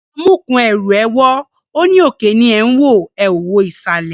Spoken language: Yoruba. Amúkùn-ún ẹrù ẹ wọ́, ó ní òkè ni ẹ̀ ń wò, ẹ ò wo ìsàlẹ̀